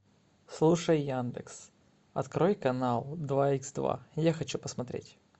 слушай яндекс открой канал два икс два я хочу посмотреть